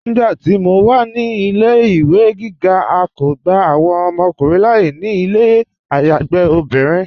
Nígbàtí mó wà ní ilẹ̀-ìwé gígá, à kó gbà awọn ọmọkùnrin láàyè ní ilẹ̀ ayágbe obìnrin.